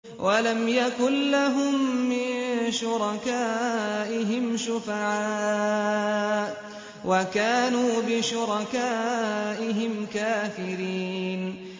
وَلَمْ يَكُن لَّهُم مِّن شُرَكَائِهِمْ شُفَعَاءُ وَكَانُوا بِشُرَكَائِهِمْ كَافِرِينَ